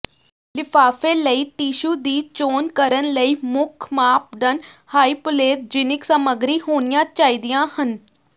ਲਿਫਾਫੇ ਲਈ ਟਿਸ਼ੂ ਦੀ ਚੋਣ ਕਰਨ ਲਈ ਮੁੱਖ ਮਾਪਦੰਡ ਹਾਈਪੋਲੇਰਜੀਨਿਕ ਸਾਮੱਗਰੀ ਹੋਣੀਆਂ ਚਾਹੀਦੀਆਂ ਹਨ